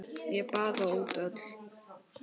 Ég baða út öll